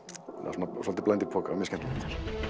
er svolítið bland í poka mjög skemmtilegt